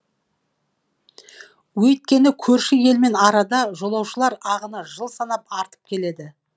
өйткені көрші елмен арада жолаушылар ағыны жыл санап артып келеді